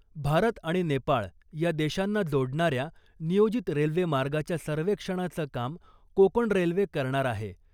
भारत आणि नेपाळ या देशांना जोडणाऱ्या नियोजित रेल्वेमार्गाच्या सर्वेक्षणाचं काम कोकण रेल्वे करणार आहे .